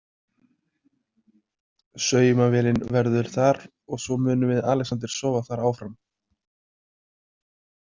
Saumavélin verður þar og svo munum við Alexander sofa þar áfram.